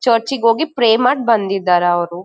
ಚರ್ಚಗ ಹೋಗಿ ಪ್ರೇ ಮಾಡ್ ಬಂದಿದ್ದಾರ ಅವ್ರು.